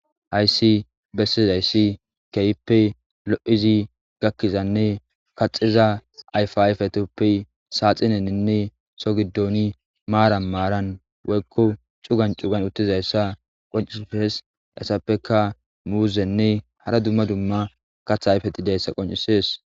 Hayisi besizayisi kehoppe loidi gakizanne kaxiza ayippa ayipetuppe saxinenine Soho gidon marani marani woyikko cugani cugani utizayisa qoncisesi hesappeka muzene hara dumma dumma kaththa ayifeti dizayisa qoncisesi